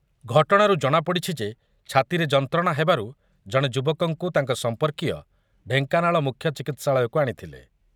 ଘଟଣାରୁ ଜଣାପଡ଼ିଛି ଯେ ଛାତିରେ ଯନ୍ତ୍ରଣା ହେବାରୁ ଜଣେ ଯୁବକଙ୍କୁ ତାଙ୍କ ସମ୍ପର୍କୀୟ ଢେଙ୍କାନାଳ ମୁଖ୍ୟ ଚିକିତ୍ସାଳୟକୁ ଆଣିଥିଲେ ।